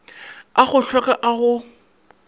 a go hlweka a go